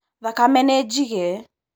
Thakame nĩjige.